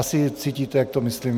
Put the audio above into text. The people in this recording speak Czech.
Asi cítíte, jak to myslím